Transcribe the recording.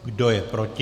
Kdo je proti?